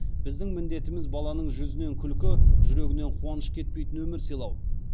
біздің міндетіміз баланың жүзінен күлкі жүрегінен қуаныш кетпейтін өмір сыйлау